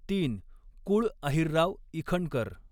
तीन कुळ अहिरराव इखनकर